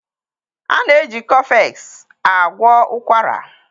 a na-eji cofex agwọ ụkwara.